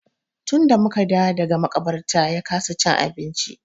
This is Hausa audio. Tun da mu ka dawo daga maƙabarta ya kasa cin abinci.